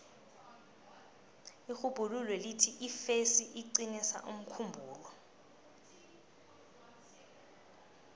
irhubhululo lithi ifesi iqinisa umkhumbulo